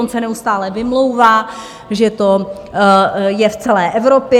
On se neustále vymlouvá, že to je v celé Evropě.